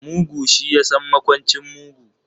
Mugu shi yasan makwancin mugu.